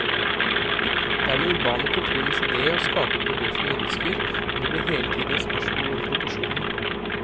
Det er den urbane kulturens idé å skape et miljø for mennesker, men det blir hele tiden et spørsmål om proporsjoner.